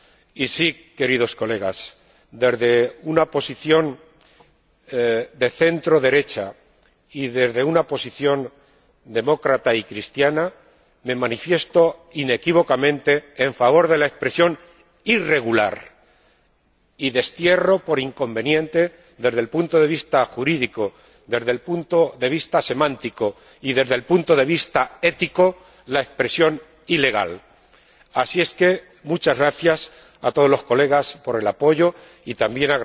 Y sí, queridos colegas, desde una posición de centroderecha y desde una posición demócrata y cristiana, me manifiesto inequívocamente en favor de la expresión irregular y destierro, por inconveniente desde el punto de vista jurídico, desde el punto de vista semántico y desde el punto de vista ético, la expresión ilegal. Así es que, muchas gracias a todos los colegas por su apoyo y también